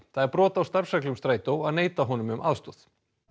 það er brot á starfsreglum Strætó að neita honum um aðstoð